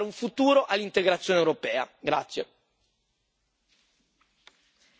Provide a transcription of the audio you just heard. Bisogna fare una scelta di campo netta a favore del lavoro per dare un futuro all'integrazione europea.